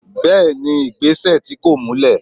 bẹẹni igbesẹ tí kọ̀ múlè.